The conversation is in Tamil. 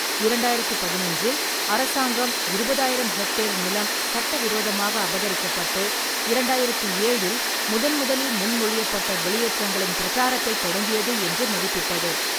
இரண்டாயிரத்தி பதினொன்றில் அரசாங்கம் இருபதாயிரம் ஹெக்டேர் நிலம் சட்டவிரோதமாக அபகரிக்கப்பட்டு, இரண்டாயிரத்தி ஏழில் முதன்முதலில் முன்மொழியப்பட்ட வெளியேற்றங்களின் பிரச்சாரத்தைத் தொடங்கியது என்று மதிப்பிட்டது.